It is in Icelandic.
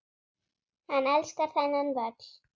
Hann elskar þennan völl.